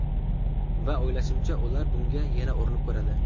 Va o‘ylashimcha, ular bunga yana urinib ko‘radi.